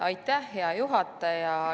Aitäh, hea juhataja!